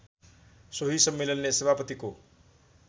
सोही सम्मेलनले सभापतिको